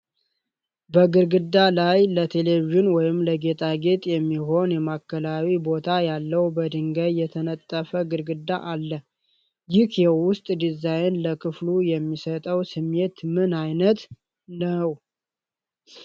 በግድግዳው ላይ ለቴሌቪዥን ወይም ለጌጣጌጥ የሚሆን የማዕከላዊ ቦታ ያለው፣ በድንጋይ የተነጠፈ ግድግዳ አለ። ይህ የውስጥ ዲዛይን ለክፍሉ የሚሰጠው ስሜት ምን ዓይነት ነው?